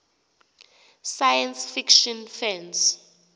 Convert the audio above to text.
science fiction fans